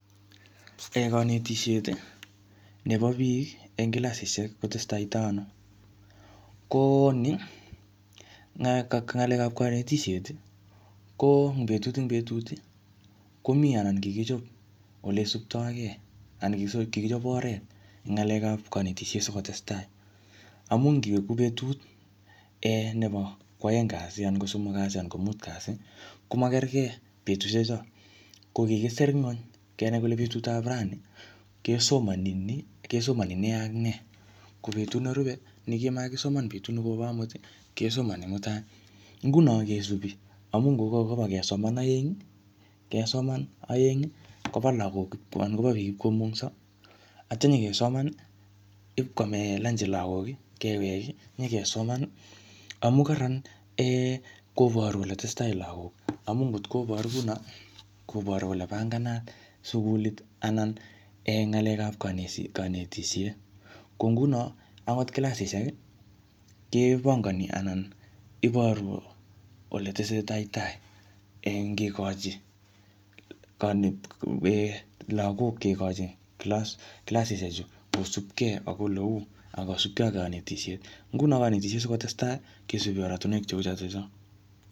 Kanetisiet nebo biik eng kilasisiek kotestaitoi ano. Ko nii, um ng'alekap kanetisiet, ko ing betut eng betut, komii anan kikichop ole isuptoikei. Anan kikichop oret eng ng'alekap kanetisiet sikotestai. Amu ngiwe ku betut um nebo ko aeng kasi anan ko somok kasi anan ko mut kasi, komakerkei betusiek cho. Ko kikisr nguny, kenai kole betut ap rani, kesomani nii, kesomani ne ak ne. Ko betut nerupe, ne kimakisoman betut nekopo amut, kesomani mutai. Nguno kesubi, amu ngokakobo kesoman eng, kesoman aeng, kobo lagok anan kobo biik ipkomungso, atya nyikesoman ipkwame lanji lagok, kewek, nyikesoman. Amu kararan um koboru kole tesetai lagok. Amu ngotko boru kuno, koboru kole panganat sukulit anan um ng'alekap kaneti-kanetisiet. Ko nguno, angot kilasisiek, kepangani anan iboru ole tesetai tai eng kekochi kane um lagok kekochin kilasisiek chu kosupkei ole uu akosupkei ak kanetisiet. Nguno kanetisiet sikotestai, kesubi oratunwek cheu chotocho.